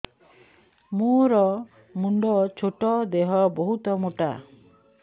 ମୋର ମୁଣ୍ଡ ଛୋଟ ଦେହ ବହୁତ ମୋଟା